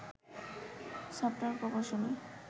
software প্রকৌশলী